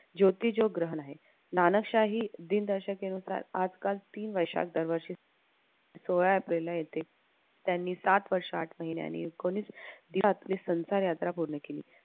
ज्योतिजो ग्रहण आहे नाना शाही दिनदर्शिकेनुसार आजकाल तीन वैशाख दरवर्षी सोळा एप्रिलला येथे त्यांनी सात वर्ष आठ महिन्याने संसार यात्रा पूर्ण केली.